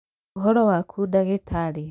Ũhoro waku ndagĩtarĩ?